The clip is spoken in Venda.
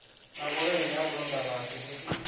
na vhuleme ha vhulondavhathu vhusi